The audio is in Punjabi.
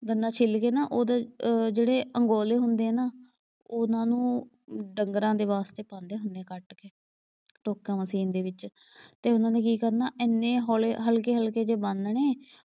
ਗੰਨਾ ਛਿੱਲ ਕੇ ਨਾ ਉਹਦੇ ਜਿਹੜੇ ਅੰਗੋਲੇ ਹੁੰਦੇ ਆ ਨਾ ਉਨ੍ਹਾਂ ਨੂੰ ਡੰਗਰਾਂ ਦੇ ਵਾਸਤੇ ਪਾਉਂਦੇ ਹੁੰਦੇ ਕੱਟ ਕੇ ਟੋਕਾ ਮਸ਼ੀਨ ਦੇ ਵਿੱਚ ਤੇ ਉਨ੍ਹਾਂ ਨੇ ਕੀ ਕਰਨਾ ਐਨੇ ਹੌਲੇ ਹਲਕੇ ਹਲਕੇ ਜਿਹੇ ਬੰਨ ਦੇਣੇ,